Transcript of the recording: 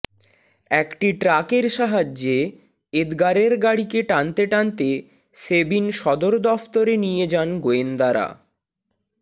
একটি ট্রাকের সাহায্যে এদগারের গাড়িকে টানতে টানতে সেবিন সদরদফতরে নিয়ে যান গোয়েন্দারা